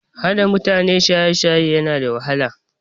Hana mutane shaye shaye na da wahala